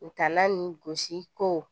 U taala nin gosi ko